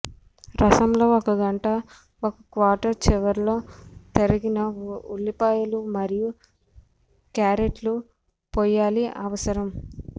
రసంలో ఒక గంట ఒక క్వార్టర్ చివర్లో తరిగిన ఉల్లిపాయలు మరియు క్యారెట్లు పోయాలి అవసరం